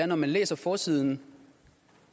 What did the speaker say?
når man læser forsiden